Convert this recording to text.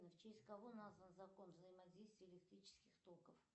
в честь кого назван закон взаимодействия электрических токов